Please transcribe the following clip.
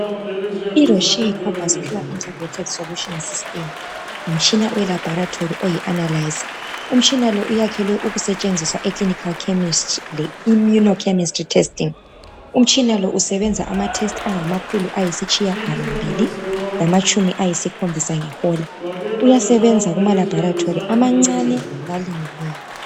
IRosheel combuscular intergrated solutions system. Ngumtshina welaboratory oyi analyser. Umtshina lo uyakhelwe ukusetshenziswa eclinical chemistry le immuno chemical testing. Umtshina lo usebenza amatests angamakhulu ayisitshiyagalombili, lamatshumi ayisikhombisa ngehola. Uyasebenza kumalaboratory amancane, lalingeneyo.